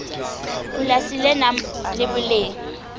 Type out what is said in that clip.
polasi le nang le boleng